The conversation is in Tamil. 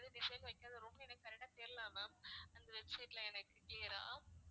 எது design வைக்காத room னு எனக்கு correct ஆ தெரியல ma'am அந்த website ல எனக்கு clear ஆ